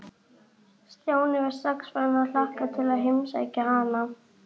Stjáni var strax farinn að hlakka til að heimsækja hana.